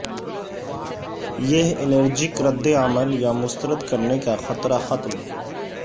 یہ الرجک رد عمل یا مسترد کرنے کا خطرہ ختم